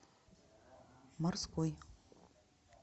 морской